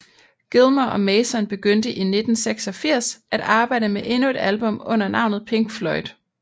Gilmour og Mason begyndte i 1986 at arbejde med endnu et album under navnet Pink Floyd